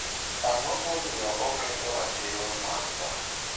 Ang'o momiyo oketho ratiro mag dhano?